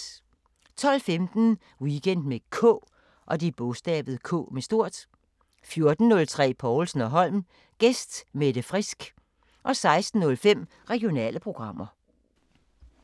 12:15: Weekend med K 14:03: Povlsen & Holm: Gæst Mette Frisk 16:05: Regionale programmer